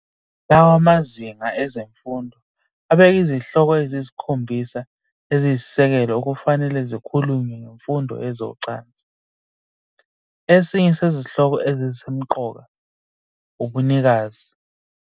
Lawa mazinga ezemfundo abeka izihloko eziyisikhombisa eziyisisekelo okufanele zikhulunywe ngemfundo yezocansi, esinye sezihloko ezisemqoka ubunikazi.